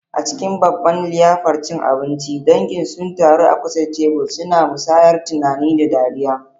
A cikin babban liyafar cin abinci, dangin sun taru a kusa da tebur, suna musayar tunani da dariya.